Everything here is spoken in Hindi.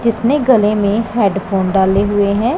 जिसने गले में हेडफोन डाले हुएं हैं।